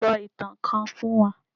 So itan kan fún wa!